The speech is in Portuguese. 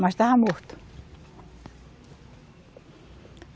Mas estava morto.